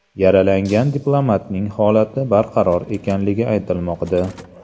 Yaralangan diplomatning holati barqaror ekanligi aytilmoqda.